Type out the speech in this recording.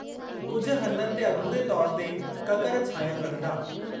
कुझु हंधनि ते अधूरे तौर ते ककर छांयल रहंदा।